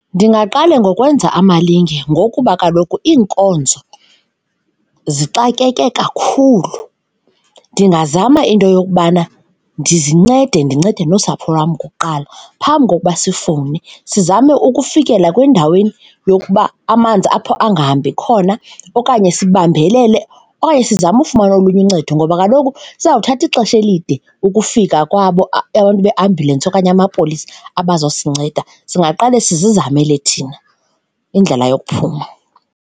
Ndingaqale ngokwenza amalinge ngokuba kaloku iinkonzo zixakeke kakhulu, ndingazama into yokubana ndizincede, ndincede nosapho lwam kuqala phambi kokuba sifowune, sizame ukufikela kwindaweni yokuba amanzi apho angahambi khona okanye sibambelele okanye sizame ufumana olunye uncedo ngoba kaloku kusezawuthatha ixesha elide ukufika kwabo abantu beambhyulensi okanye amapolisa abaza kusinceda, singaqala sizamele thina indlela yokuphuma.